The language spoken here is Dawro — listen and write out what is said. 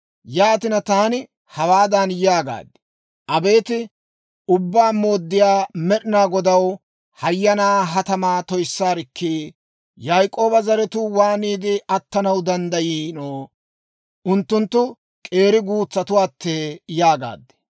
Yaatina taani hawaadan yaagaad; «Abeet Ubbaa Mooddiyaa Med'inaa Godaw, hayyanaa ha tamaa toyissaarikkii! Yaak'ooba zaratuu waaniide attanaw danddayiino? Unttunttu k'eeri guutsattuwaattee!» yaagaad.